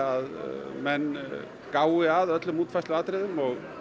að menn gái að öllum útfærsluatriðum og